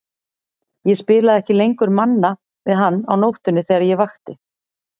Ég spilaði ekki lengur Manna við hann á nóttunni þegar ég vakti.